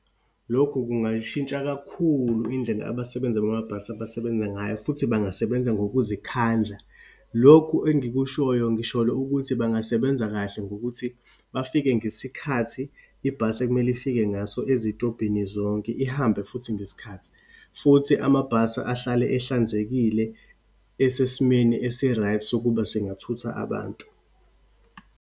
Lokhu kungayishintsha kakhulu indlela abasebenza bamabhasi abasebenza ngayo, futhi bangasebenza ngokuzikhandla. Lokhu engikushoyo, ngisholo ukuthi bangasebenza kahle, ngokuthi bafike ngesikhathi ibhasi ekumele ifike ngaso ezitobhini zonke, ihambe futhi ngesikhathi. Futhi amabhasi ahlale ehlanzekile, esesimeni esi-right sokuba angathutha abantu.